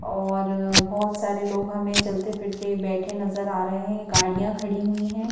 और बहुत सारे लोग हमें चलते फिरते बैठे नजर आ रहे हैं गाड़ियां खड़ी हुई हैं।